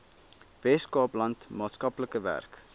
weskaapland maatskaplike werk